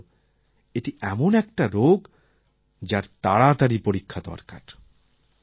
এর মানে হল এটি এমন একটা রোগ যার তাড়াতাড়ি পরীক্ষা দরকার